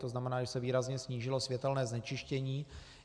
To znamená, že se výrazně snížilo světelné znečištění.